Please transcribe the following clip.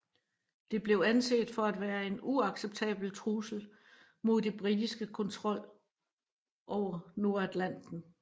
Det blev anset for at være en uacceptabel trussel mod den britiske kontrol over Nordatlanten